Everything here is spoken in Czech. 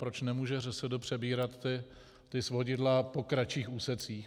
Proč nemůže ŘSD přebírat ta svodidla po kratších úsecích?